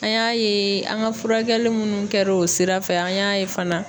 An y'a ye an ŋa furakɛli munnu kɛr'o sira fɛ an y'a ye fana